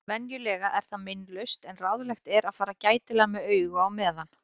Venjulega er það meinlaust en ráðlegt er að fara gætilega með augu á meðan.